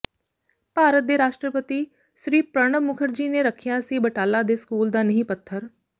ਭਾਰਤ ਦੇ ਰਾਸ਼ਟਰਪਤੀ ਸ੍ਰੀ ਪ੍ਰਣਬ ਮੁਰਖਰਜੀ ਨੇ ਰੱਖਿਆ ਸੀ ਬਟਾਲਾ ਦੇ ਸਕੂਲ ਦਾ ਨੀਂਹ ਪੱਥਰ